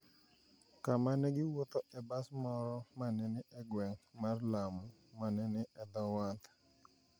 kama ne giwuodhoe bas moro ma ne ni e gweng’ mar Lamu ma ne ni e dho wath.